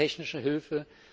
Drittens technische Hilfe.